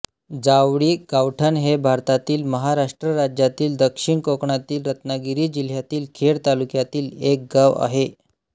जावळी गावठण हे भारतातील महाराष्ट्र राज्यातील दक्षिण कोकणातील रत्नागिरी जिल्ह्यातील खेड तालुक्यातील एक गाव आहे